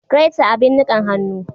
Greater abin nikan hannu